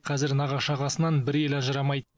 қазір нағашы ағасынан бір елі ажырамайды